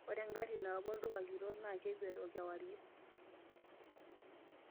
ore ingarri naapo olduka kitok naa kekwet oo kiwarie